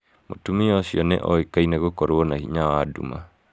Mũtumia ũcio nĩ oĩkaine gũkorwo na hinya wa nduma.